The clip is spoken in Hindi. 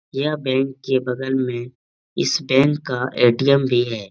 यह बैंक के बगल में इस बैंक का एटीएम भी है।